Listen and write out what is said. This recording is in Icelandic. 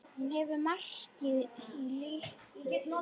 Hún hefur markað líf mitt.